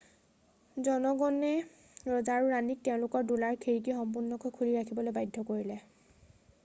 জনগণে ৰজা আৰু ৰাণীক তেওঁলোকৰ দোলাৰ খিৰিকী সম্পূৰ্ণকৈ খুলি ৰাখিবলৈ বাধ্য কৰিলে